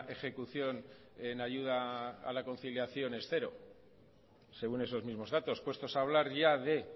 ejecución en ayuda a la conciliación es cero según esos mismos datos puestos a hablar ya de